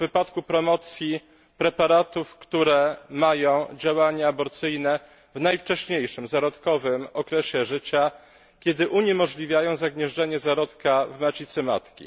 w przypadku promocji preparatów, które mają działanie aborcyjne w najwcześniejszym, zarodkowym okresie życia, kiedy uniemożliwiają zagnieżdżenie się zarodka w macicy matki.